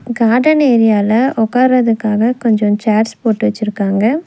Garden ஏரியால உக்காரதுக்காக கொஞ்சோ சேர்ஸ் போட்டு வெச்சுருக்காங்க.